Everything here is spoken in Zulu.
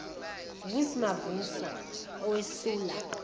vusi mavuso owesula